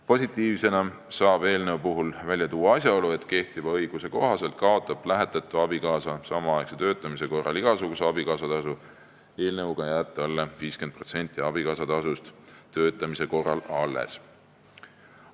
Positiivsena saab eelnõu puhul esile tuua asjaolu, et kui kehtiva õiguse kohaselt kaotab lähetatu abikaasa samaaegse töötamise korral igasuguse abikaasatasu, siis eelnõuga jääb talle 50% abikaasatasust töötamise korral alles.